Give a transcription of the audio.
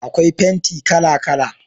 akwai fenti kala kala